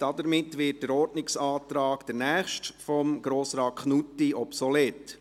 Somit wird der nächste Ordnungsantrag von Grossrat Knutti obsolet.